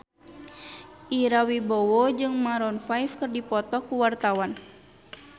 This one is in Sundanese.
Ira Wibowo jeung Maroon 5 keur dipoto ku wartawan